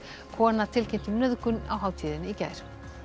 kona tilkynnti um nauðgun á hátíðinni í gær